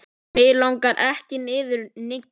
Mig langar ekki niður, Nikki.